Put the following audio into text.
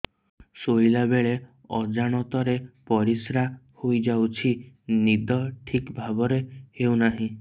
ଶୋଇଲା ବେଳେ ଅଜାଣତରେ ପରିସ୍ରା ହୋଇଯାଉଛି ନିଦ ଠିକ ଭାବରେ ହେଉ ନାହିଁ